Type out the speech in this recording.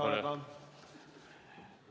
Palun!